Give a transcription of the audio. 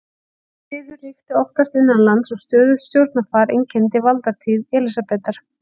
Friður ríkti oftast innanlands og stöðugt stjórnarfar einkenndi valdatíð Elísabetar.